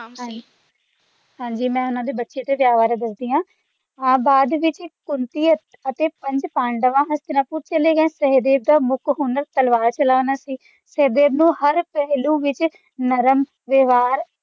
ਹਾਂ ਜੀ ਮੈਂ ਉਨ੍ਹਾਂ ਦੇ ਬੱਚੇ ਤੇ ਵਿਆਹ ਬਾਰੇ ਦੱਸਦੀ ਹਾਂ ਬਾਅਦ ਵਿੱਚ ਜੀ ਕੁੰਤੀ ਅਤੇ ਪੰਜ ਪਾਂਡਵ ਹਸਤਿਨਪੁਰ ਚਲੇ ਗਏ ਸਹਿਦੇਵ ਦਾ ਮੁੱਖ ਹੁਨਰ ਤਲਵਾਰ ਚਲਾਉਣਾ ਸੀ ਸਹਿਦੇਵ ਨਾ ਹਰ ਪਹਿਲੂ ਦੇ ਵਿੱਚ ਨਰਮ ਵਿਵਹਾਰ